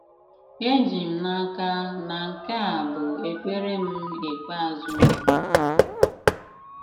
Èjì m n'aka na nke à bụ ekpèrè m ikpeàzụ.